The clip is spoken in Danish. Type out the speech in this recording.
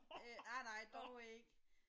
Nej nej dog ikke